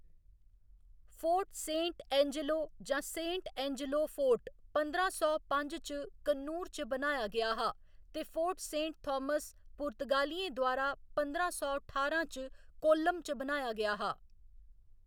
Fort Saint Angelo जां Saint Angelo fort पंदरां सौ पंज च कन्नूर च बनाया गेआ हा ते फोर्ट सेंट थामस पुर्तगालियें द्वारा पंदरां सौ ठारां च कोल्लम च बनाया गेआ हा।